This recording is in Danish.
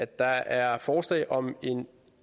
der er forslag om en